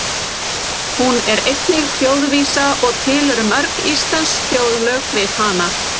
Hún er einnig þjóðvísa og til eru mörg íslensk þjóðlög við hana.